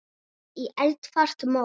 Setjið í eldfast mót.